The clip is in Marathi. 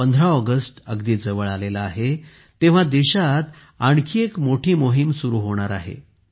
15 ऑगस्ट अगदी जवळ आला आहे तेव्हा देशात आणखी एक मोठी मोहीम सुरू होणार आहे